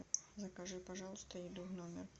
закажи пожалуйста еду в номер